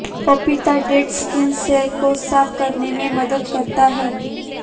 पपीता dead skin cells को साफ करने में मदद करता है